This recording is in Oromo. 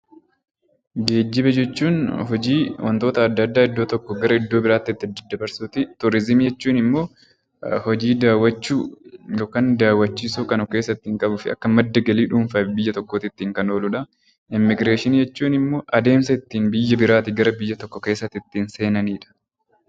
Geejjiba jechuun hojii wantoota adda addaa iddoo tokkoo gara iddoo biraatti daddabarsuuti. Turizimiin immoo hojii daawwachuu yookiin daawwachiisuu kan of keessatti qabuu fi Akka madda galii biyya tokkootti kan ooludha. Immiigireeshinii jechuun immoo adeemsa ittiin biyya biraatii gara biyya biraatti ittiin seenanidha.